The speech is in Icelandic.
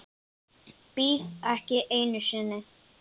Bíð ekki einu sinni.